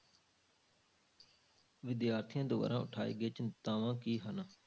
ਵਿਦਿਆਰਥੀਆਂ ਦੁਆਰਾ ਉਠਾਈ ਗਈ ਚਿੰਤਾਵਾਂ ਕੀ ਹਨ?